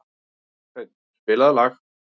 Hreinn, spilaðu lag.